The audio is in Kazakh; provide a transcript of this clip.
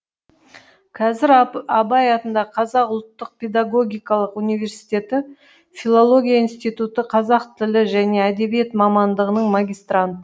қазір абай атындағы қазақ ұлттық педагогикалық университеті филология институты қазақ тілі және әдебиеті мамандығының магистрант